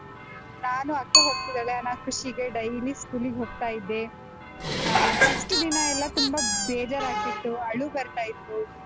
ನಾನು ಅಕ್ಕ ಹೋಗ್ತಿದ್ದಾಳೆ ಅನ್ನ ಖುಷಿಗೆ daily school ಗೆ ಹೋಗ್ತಾ ಇದ್ದೆ ಆಹ್ first ದಿನ ಎಲ್ಲಾ ತುಂಬಾ ಬೇಜಾರಾಗ್ತಿತ್ತು, ಅಳು ಬರ್ತಾ ಇತ್ತು.